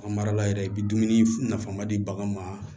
An marala yɛrɛ i bɛ dumuni nafama di bagan ma